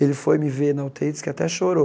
Ele foi me ver na u tê í e disse que até chorou.